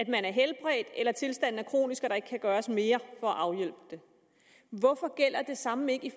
man er helbredt eller tilstanden er kronisk og der ikke kan gøres mere for at afhjælpe dem hvorfor gælder det samme ikke